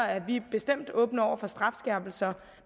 er vi bestemt åbne over for strafskærpelser